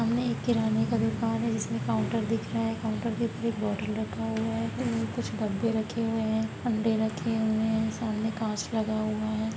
सामने एक किराने का दुकान है जिसमें काउंटर दिख रहा है| काउंटर के ऊपर एक बोटल रखा हुआ है उम कुछ डब्बे रखे हुए हैं अंडे रखे हुए है| सामने कांच लगा हुआ है।